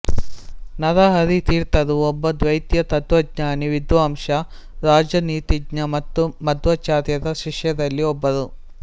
ನರಹರಿ ತೀರ್ಥರು ಒಬ್ಬ ದ್ವೈತ ತತ್ವಜ್ಞಾನಿ ವಿದ್ವಾಂಸ ರಾಜನೀತಿಜ್ಞ ಮತ್ತು ಮಧ್ವಾಚಾರ್ಯರ ಶಿಷ್ಯರಲ್ಲಿ ಒಬ್ಬರು